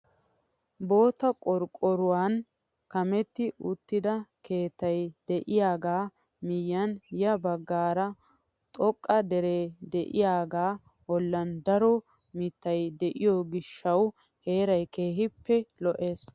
Bootta qorqqoruwaan kametti uttida keettay de'iyaagaa miyiyaan ya baggaara xoqqa deree de'iyaaga bollan daro mittay de'iyoo giishshawu heeray keehippe lo"ees.